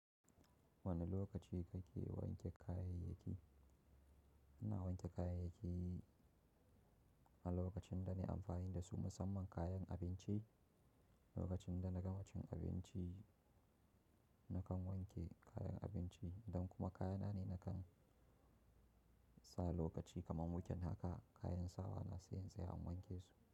Wane lokaci kake wanke kayayyaki? Ina wanke kayayyaki a lokacin da nai amfani da su, musamman kayan abinci. Lokacin da na gama cin abinci nakan wanke kayan abinci idan kuma kayana ne nakan. Sa lokaci kaman weekend haka kayan sawa na sayin saya in wanke su.